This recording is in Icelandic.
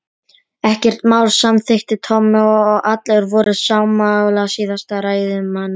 Ekkert mál samþykkti Tommi og allir voru sammála síðasta ræðumanni.